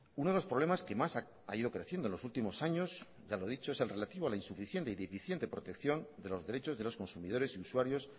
uno de los problemas que más ha ido creciendo en los últimos años ya lo he dicho es el relativo a la insuficiente y deficiente protección de los derechos de los consumidores y usuarios